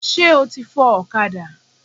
Ṣé o ti fọ ọ̀kadà?